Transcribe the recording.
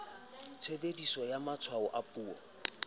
tshebediso ya matshwao a puo